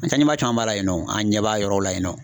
An caman ba la yen nɔ an ɲɛ b'a yɔrɔ la yen nɔ.